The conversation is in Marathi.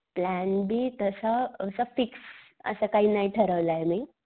प्लॅन बी तसा असा फिक्स असा काही नाही ठरवलाय मी.